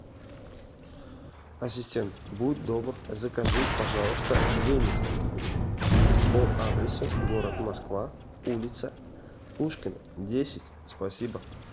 ассистент будь добр закажи пожалуйста веник по адресу город москва улица пушкина десять спасибо